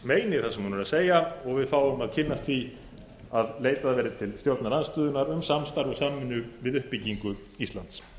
meini það sem hún er að segja og við fáum að kynnast því að leitað verði til stjórnarandstöðunnar um samstarf og samvinnu um uppbyggingu íslands